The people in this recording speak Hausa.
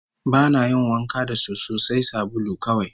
Ba na yin wanka da soso, sai sabulu kawai